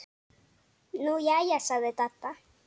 Nú jæja sagði Dadda.